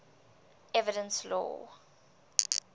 evidence law